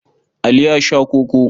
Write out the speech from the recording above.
Ali ya sha koko.